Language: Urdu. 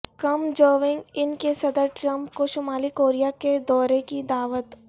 کم جونگ ان کی صدر ٹرمپ کو شمالی کوریا کے دورے کی دعوت